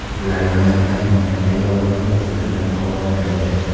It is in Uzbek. Ular yonayotgan nomerdagi olovni o‘chirish bilan ovora edi.